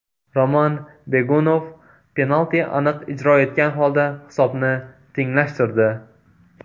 Roman Begunov penalti aniq ijro etgan holda hisobni tenglashtirdi.